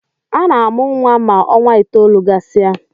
Ana-amụ nwa ma ọnwa itoolu gasị a